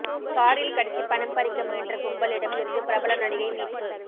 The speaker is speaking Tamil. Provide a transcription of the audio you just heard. காரில் கடத்தி பணம் பறிக்க முயன்ற கும்பலிடம் இருந்து பிரபல நடிகை மீட்பு